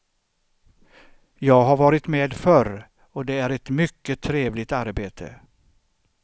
Jag har varit med förr och det är ett mycket trevligt arbete.